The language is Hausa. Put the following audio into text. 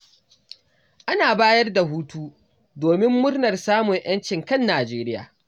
Ana bayar da hutu, domin murnar samun 'yancin kan Nijeriya.